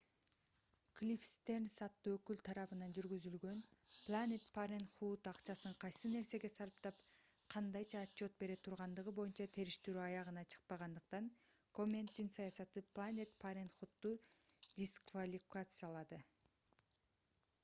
клифф стернс аттуу өкүл тарабынан жүргүзүлгөн planned parenthood акчасын кайсы нерсеге сарптап кандайча отчет бере тургандыгы боюнча териштирүү аягына чыкпагандыктан комендин саясаты planned parenthood'ду дисквалификациялады